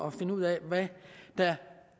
at finde ud af hvad der